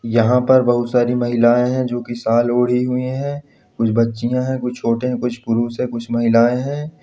यहाँ पर बहोत सारी महिलाएं हैं जो की शॉल ओढ़ी हुई है कुछ बच्चियां है कुछ छोटे है कुछ पुरुष है कुछ महिलाएं है।